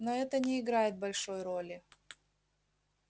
но это не играет большой роли